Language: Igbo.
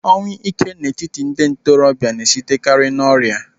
Ọnwụ ike n'etiti ndị ntorobịa na-esitekari n'ọrịa.